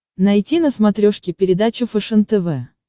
найти на смотрешке передачу фэшен тв